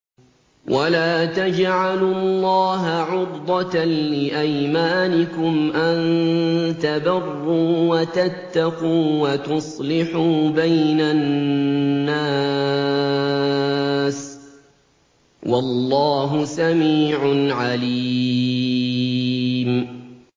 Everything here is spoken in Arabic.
وَلَا تَجْعَلُوا اللَّهَ عُرْضَةً لِّأَيْمَانِكُمْ أَن تَبَرُّوا وَتَتَّقُوا وَتُصْلِحُوا بَيْنَ النَّاسِ ۗ وَاللَّهُ سَمِيعٌ عَلِيمٌ